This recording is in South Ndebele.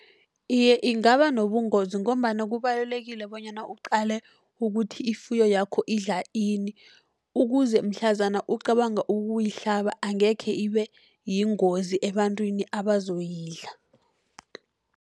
Iye, ingaba nobungozi, ngombana kubalulekile bonyana uqale ukuthi ifuyo yakho idla ini. Ukuze mhlazana ucabanga ukuyihlaba, angekhe ibe yingozi ebantwini abazoyidla